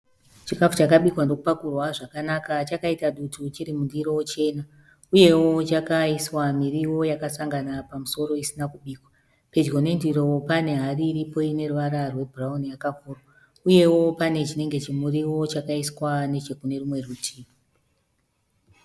Chikafu chakabikwa ndokupakurwa zvakanaka chakaita dutu chiri mundiro chena uyewo chakaiswa miriwo yakasangana pamusoro isana kubikwa pedyo nendiro pane hari iripo ine ruvara rwebhurauni yakavhurwa, uyewo pane chinenge chimuriwo chakaiswa neche kune rumwe rutivi.